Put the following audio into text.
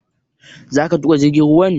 Za ka tuƙa jirgin ruwan?